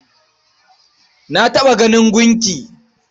Na taɓa ganin gunki.